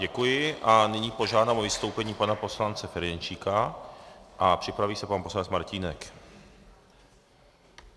Děkuji a nyní požádám o vystoupení pana poslance Ferjenčíka a připraví se pan poslanec Martínek.